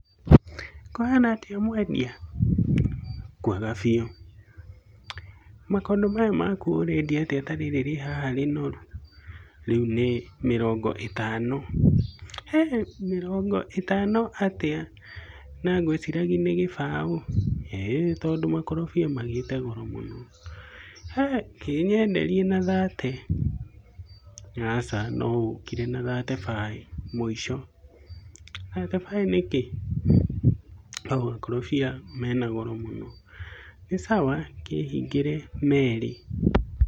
Mũgũri:Kũhaana atĩa mwendia? Mwendia:Nĩ kwega biũ. Mũgũri:Makondo maya maku ũrendia atĩa ta rĩrĩ rĩ haha rĩnoru? Mwendia: Rĩu nĩ Mĩrongo ĩtano. Mũgũri:Hĩ! Mĩrongo ĩtano atĩa na ngwĩciragia nĩ kĩbaũ? Mwendia:ĩĩ tondũ makorobia nĩ magĩĩte goro mũno. Mũgũri:Hĩ! Kĩnyenderie na thate. Mwendia:Aca no ũkire na thate bae mũico. Mũgũri:Thate bae nĩkĩĩ? Mwendia:Tondũ makorobia mena goro mũno. Mũgũri: Nĩ sawa kĩ hingire meerĩ